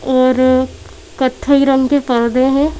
और कथई रंग के पर्दे हैं।